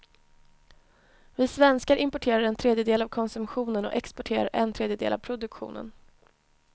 Vi svenskar importerar en tredjedel av konsumtionen och exporterar en tredjedel av produktionen.